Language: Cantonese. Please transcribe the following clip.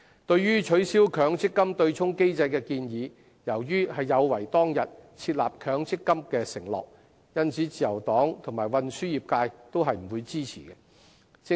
對於取消強制性公積金對沖機制的建議，由於有違當日設立強積金的承諾，因此自由黨及運輸業界均不會支持。